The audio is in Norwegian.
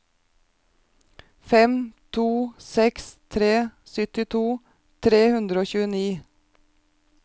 fem to seks tre syttito tre hundre og tjueni